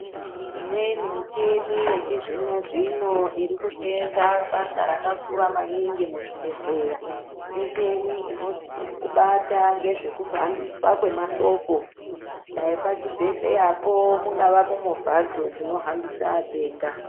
Imweni michini yechizvino zvino irikuseenza basa rakakura maningi muzvibhedhleya, muchini inobata ngezvekuhambiswa kwemashoko dai pachibhedhleyapo mungava movha hadzo dzinohambisa atenda.